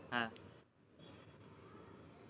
હા